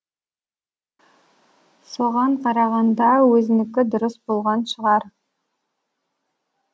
соған қарағанда өзінікі дұрыс болған шығар